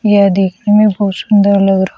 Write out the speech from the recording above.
यह देखने में बहुत सुंदर लग रहा--